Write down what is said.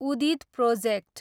उदीद project